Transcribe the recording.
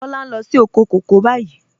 Kọla ń lọ sí òkò kọ̀kọ̀ báyìí.